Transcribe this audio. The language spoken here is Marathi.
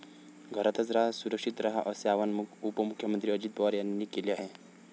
घरातचं रहा, सुरक्षित रहा असे आवाहन उपमुख्यमंत्री अजित पवार यांनी केले आहे.